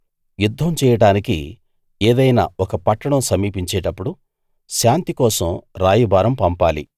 యుద్ధం చేయడానికి ఏదైనా ఒక పట్టణం సమీపించేటప్పుడు శాంతి కోసం రాయబారం పంపాలి